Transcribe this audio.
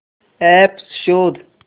app शोध